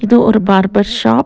இது ஒரு barber shop .